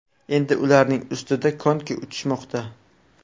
Endi ularning ustida konki uchishmoqda.